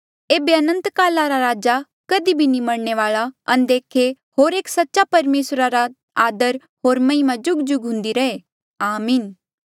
एेबे अनंतकाला रा राजा कधी भी नी मरणे वाल्आ अनदेखे होर एक सच्चा परमेसरा रा आदर होर महिमा जुगजुग हुन्दी रहे आमीन